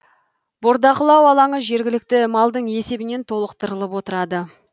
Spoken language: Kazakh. бордақылау алаңы жергілікті малдың есебінен толықтырылып отырады